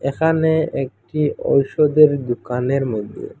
এখানে একটি ঔষধের দুকানের মধ্যে--